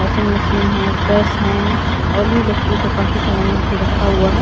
Washing machine है press है और भी इलेक्ट्रिक का काफी सामान यहां पर रखा हुआ है ।